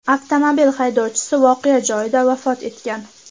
Avtomobil haydovchisi voqea joyida vafot etgan.